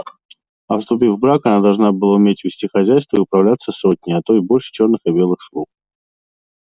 а вступив в брак она должна была уметь вести хозяйство и управляться сотней а то и больше черных и белых слуг